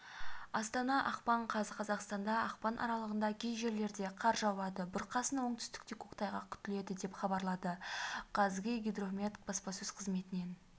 астана ақпан қаз қазақстанда ақпан аралығында кей жерлерде қар жауады бұрқасын оңтүстікте көктайғақ күтіледі деп хабарлады қазгидромет баспасөз қызметінен